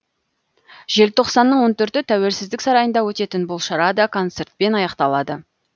желтоқсанның он төрті тәуелсіздік сарайында өтетін бұл шара да концертпен аяқталады